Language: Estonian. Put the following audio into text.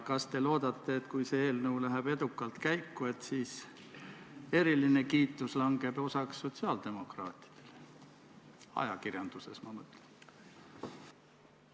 Kas te loodate, et kui see eelnõu läheb edukalt käiku, siis eriline kiitus langeb osaks sotsiaaldemokraatidele, ajakirjanduses, ma mõtlen?